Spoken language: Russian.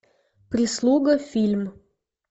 прислуга фильм